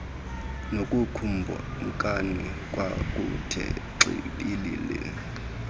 nakukumkani kwakuthe xibilili